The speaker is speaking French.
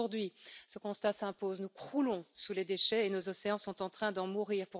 Mais aujourd'hui, ce constat s'impose nous croulons sous les déchets et nos océans sont en train d'en mourir.